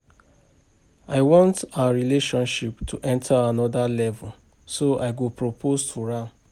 I want our relationship to enter another level so I go propose to am